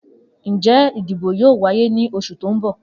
Njẹ idibo yoo waye ni oṣu ti n bọ?